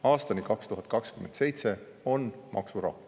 " Aastani 2027 on maksurahu.